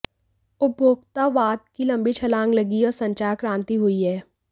उपभोक्तावाद की लंबी छलांग लगी है और संचार क्रांति हुई है